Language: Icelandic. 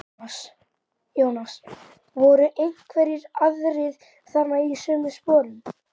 Jónas: Voru einhverjir aðrir þarna í sömu sporum?